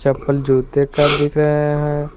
चप्पल जूते का दिख रहे हैं।